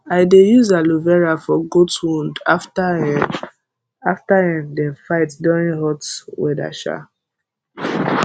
i dey use aloe vera for goat wound after um after um dem fight during hot weather um